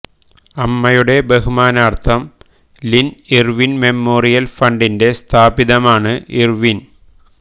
അമ്മയുടെ ബഹുമാനാർത്ഥം Lynn Irvine memorial ഫണ്ടിന്റെ സ്ഥാപിതമാണ് ഇർവിൻ